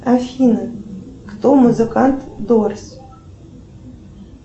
афина кто музыкант дорс